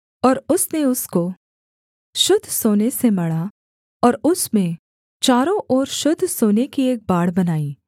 और उसने उसको शुद्ध सोने से मढ़ा और उसमें चारों ओर शुद्ध सोने की एक बाड़ बनाई